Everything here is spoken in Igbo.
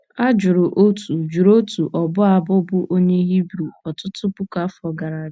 a jụrụ otu jụrụ otu ọbụ abụ bụ́ onye Hibru ọtụtụ puku afọ gara aga.